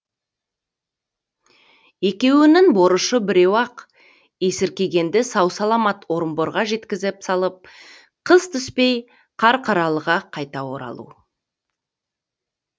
екеуінің борышы біреу ақ есіркегенді сау саламат орынборға жеткізіп салып қыс түспей қарқаралыға қайта оралу